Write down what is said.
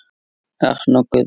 Örn og Guðrún.